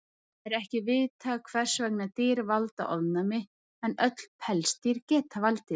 Það er ekki vitað hvers vegna dýr valda ofnæmi, en öll pelsdýr geta valdið því.